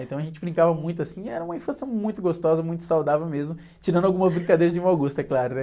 Então a gente brincava muito, assim, e era uma infância muito gostosa, muito saudável mesmo, tirando algumas brincadeiras de mau gosto, é claro, né?